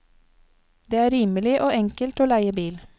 Det er rimelig og enkelt å leie bil.